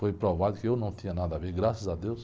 Foi provado que eu não tinha nada a ver, graças a Deus.